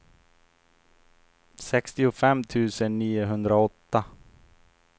sextiofem tusen niohundraåtta